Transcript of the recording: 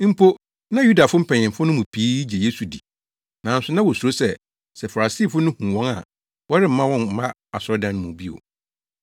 Mpo, na Yudafo mpanyimfo no mu pii gye Yesu di, nanso na wosuro sɛ, sɛ Farisifo no hu wɔn a, wɔremma wɔmma asɔredan no mu bio.